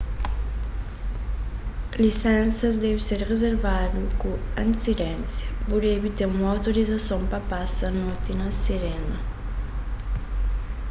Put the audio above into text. lisensas debe ser rizervadu ku antisidénsia bu debe ten un outorizason pa pasa noti na sirena